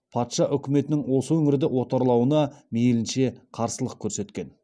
патша үкіметінің осы өңірді отарлауына мейлінше қарсылық көрсеткен